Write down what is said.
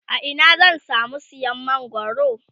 a Ina zan samu siyan mangwaro?